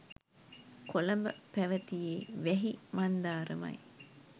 කොළඹ පැවැතියේ වැහි මන්දාරමයි.